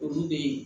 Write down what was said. Olu be yen